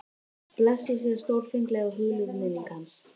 Blessuð sé stórfengleg og hugljúf minning hans.